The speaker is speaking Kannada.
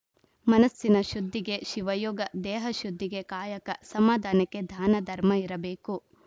ಮನಸ್ಸಿನ ಶುದ್ಧಿಗೆ ಶಿವಯೋಗ ದೇಹ ಶುದ್ಧಿಗೆ ಕಾಯಕ ಸಮಾಧಾನಕ್ಕೆ ಧಾನ ಧರ್ಮ ಇರಬೇಕು